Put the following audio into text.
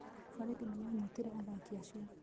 Borithi nĩ maanyitire athaaki acio.